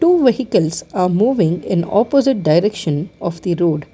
two vehicles are moving in opposite direction of the road.